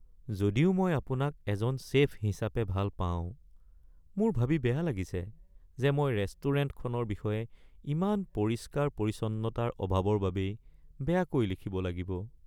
যদিও মই আপোনাক এজন চে'ফ হিচাপে ভাল পাওঁ, মোৰ ভাবি বেয়া লাগিছে যে মই ৰেষ্টুৰেণ্টখনৰ বিষয়ে ইয়াৰ পৰিষ্কাৰ-পৰিচ্ছন্নতাৰ অভাৱৰ বাবেই বেয়াকৈ লিখিব লাগিব। (খাদ্য সমালোচক)